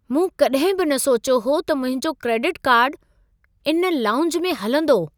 मूं कॾहिं बि न सोचियो हो त मुंहिंजो क्रेडिट कार्डु इन लाऊंज में हलंदो!